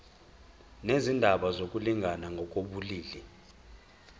nezindaba zokulingana ngokobulili